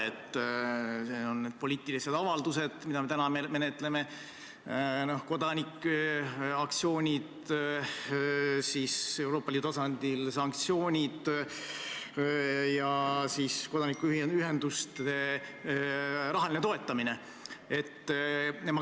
Need on sellised poliitilised avaldused, nagu me täna menetleme, kodanike aktsioonid, samuti Euroopa Liidu tasandil sanktsioonid ja kodanikuühenduste rahaline toetamine.